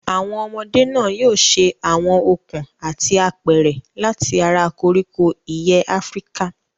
Àwọn ọmọdé náà yóò ṣe àwọn okùn àti apẹ̀rẹ̀ láti ara koríko ìyẹ́ Áfíríkà.